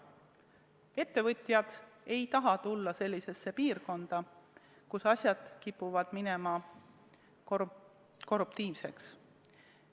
Ettevõtjad ei taha tulla sellisesse piirkonda, kus asjad kipuvad minema korruptiivseks.